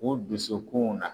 u dusukunw na.